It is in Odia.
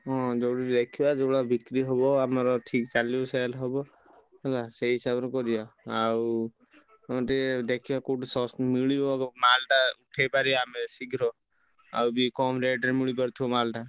ହଁ ଯଉଠି ଦେଖିବା ଯଉ ଭଳିଆ ବିକ୍ରି ହବ ଆମର ଠିକ ଚାଲିବ sale ହବ ହେଲା ସେଇ ହିସାବ ରେ କରିବା ଆଉ ତମେ ଟିକେ ଦେଖିବ କଉଠି ମିଳିବ ମାଲ ଟା ଉଠେଇ ପାରିବା ଆମେ ଶୀଘ୍ର ଆଉ ବି କମ rate ରେ ମିଳି ପାରୁଥିବ ମାଲ ଟା।